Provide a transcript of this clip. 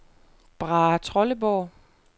Brahetrolleborg